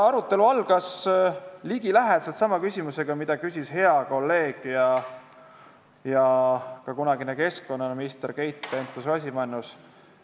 Arutelu algas ligilähedaselt sama küsimusega, mida küsis hea kolleeg ja kunagine keskkonnaminister Keit Pentus-Rosimannus.